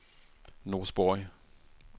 Norsborg